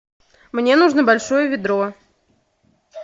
мне нужно большое ведро